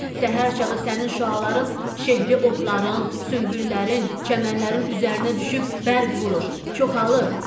Səhər çağı sənin şüaların şehli otların, sümbüllərin, çəmənlərin üzərinə düşüb bərq vurur, çoxalır.